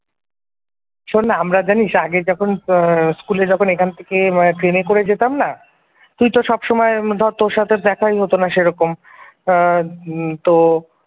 শোন না আমরা জানিস আগে যখন school যখন এখান থেকে ট্রেনে করে যেতাম না তুই তো সব সময় ধর তোর সাথে দেখাই হতো না সেই রকম তো।